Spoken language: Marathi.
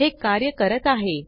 हे कार्य करत आहे